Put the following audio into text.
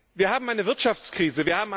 Wir haben eine Wirtschaftskrise.